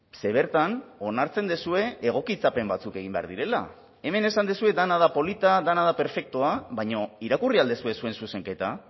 ze bertan onartzen duzue egokitzapen batzuk egin behar direla hemen esan duzue dena da polita dena da perfektua baina irakurri al duzue zuen zuzenketa